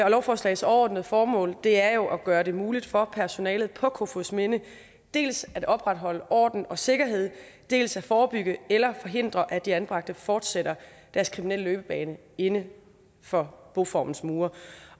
lovforslagets overordnede formål er jo at gøre det muligt for personalet på kofoedsminde dels at opretholde orden og sikkerhed dels at forebygge eller forhindre at de anbragte fortsætter deres kriminelle løbebane inden for boformens mure